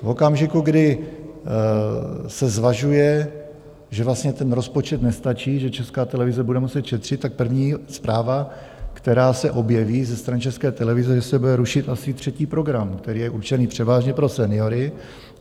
V okamžiku, kdy se zvažuje, že vlastně ten rozpočet nestačí, že Česká televize bude muset šetřit, tak první zpráva, která se objeví ze strany České televize, že se bude rušit asi třetí program, který je určený převážně pro seniory.